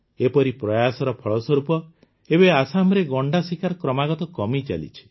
ଏପରି ପ୍ରୟାସର ଫଳସ୍ୱରୂପ ଏବେ ଆସାମରେ ଗଣ୍ଡା ଶିକାର କ୍ରମାଗତ କମିଚାଲିଛି